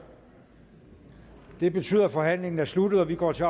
det betyder at forhandlingen er sluttet og vi går til